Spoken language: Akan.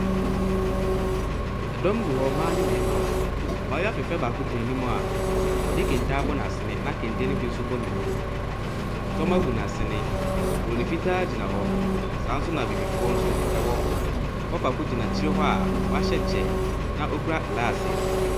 Dɔm wɔ hɔ, mmaa ne mmarima. Abaayewa fɛɛfɛɛ baako gyina naim a zde kente abɔ n'asene na kente no bi nso bɔ ne mu. Tɔma gu n'asene. Buroni fita gyina hɔ. Saa ara nsso na abibifoɔ nso wɔ hɔ. Papa baako gyina akyire hɔ a ɔhyɛ kyɛ na ɔkura glaase.